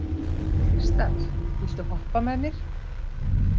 Kristall, viltu hoppa með mér?